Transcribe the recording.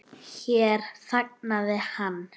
Hér þagnaði hann.